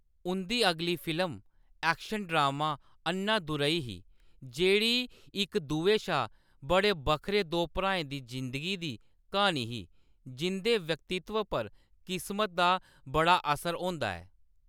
उंʼदी अगली film action drama Annadurai ही, जेह्‌‌ड़ी इक दुए शा बड़े बक्खरे दो भ्राएं दी ज़िंदगी दी क्हानी ही जिंʼदे व्यक्तित्व पर किस्मत दा बड़ा असर होंदा ऐ।